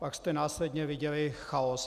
Pak jste následně viděli chaos.